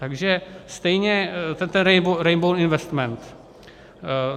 Takže stejně ten Rainbow Investments.